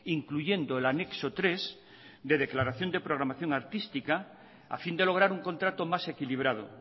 incluyendo el anexo tres de declaración de programación artística a fin de lograr un contrato más equilibrado